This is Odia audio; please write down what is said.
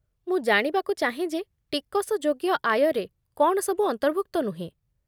ମୁଁ ଜାଣିବାକୁ ଚାହେଁ ଯେ ଟିକସଯୋଗ୍ୟ ଆୟରେ କ'ଣ ସବୁ ଅନ୍ତର୍ଭୁକ୍ତ ନୁହେଁ।